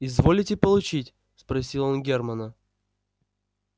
изволите получить спросил он германа